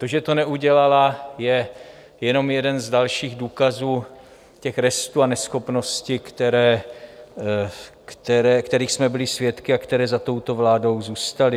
To, že to neudělala, je jenom jeden z dalších důkazů těch restů a neschopnosti, kterých jsme byli svědky a které za touto vládou zůstaly.